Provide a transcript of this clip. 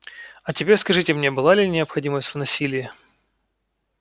а теперь скажите мне была ли необходимость в насилии